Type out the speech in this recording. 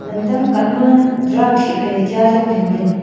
lamtang kahma truck chih phai cha jong cham taiga.